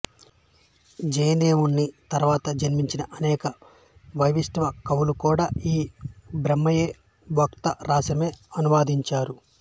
జయదేవుని తరువాత జన్మించిన అనేక వైష్ణవ కవులు కూడా ఈ బ్రహ్మవైవర్త రాసమే అనువదించారు